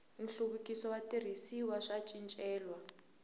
nhluvukiso wa switirhisiwa swa swicelwa